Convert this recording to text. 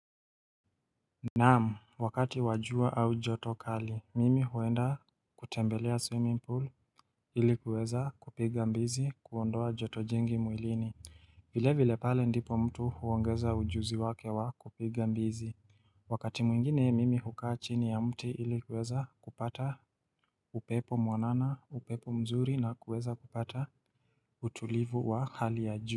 Naam wakati wa jua au joto kali mimi huenda kutembelea swimming pool ilikuweza kupiga mbizi kuondoa joto jingi mwilini vile vile pale ndipo mtu huongeza ujuzi wake wa kupiga mbizi Wakati mwingine mimi hukaa chini ya mti ilikuweza kupata upepo mwanana upepo mzuri na kuweza kupata utulivu wa hali ya juu.